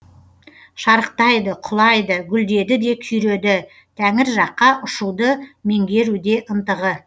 шарықтайды құлайды гүлдеді де күйреді тәңір жаққа ұшуды меңгеруде ынтығы